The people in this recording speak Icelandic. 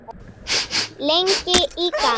Blessuð sé minning ömmu Fríðu.